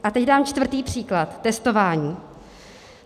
A teď dám čtvrtý příklad, testování.